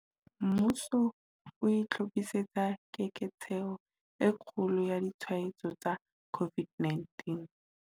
Mmuso o itlhophisetsa keketseho e kgolo ya ditshwaetso tsa COVID-19